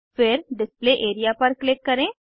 फिर display area पर click करें